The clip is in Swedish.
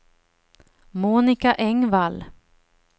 Monica Engvall